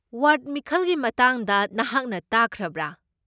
Ward ꯃꯤꯈꯜꯒꯤ ꯃꯇꯥꯡꯗ ꯅꯍꯥꯛꯅ ꯇꯥꯈ꯭ꯔꯕ꯭ꯔꯥ?